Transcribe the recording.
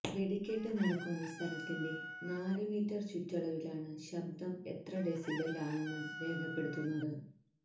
വെടിക്കെട്ട് നടക്കുന്ന സ്ഥലത്തിന്റെ നാലു മീറ്റര് ചുറ്റളവിലാണ് ശബ്ദം എത്ര ഡെസിബല് ആണെന്ന് രേഖപ്പെടുത്തുന്നത്